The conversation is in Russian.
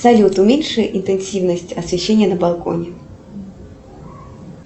салют уменьши интенсивность освещения на балконе